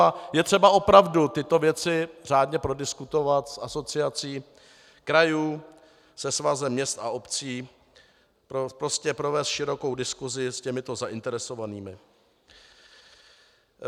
A je třeba opravdu tyto věci řádně prodiskutovat s Asociací krajů, se Svazem měst a obcí, prostě provést širokou diskusi s těmito zainteresovanými.